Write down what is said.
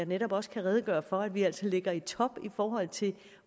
netop også redegøre for at vi altså ligger i top i forhold til